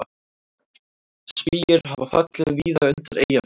Spýjur hafa fallið víða undir Eyjafjöllum